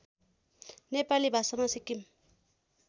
नेपाली भाषामा सिक्किम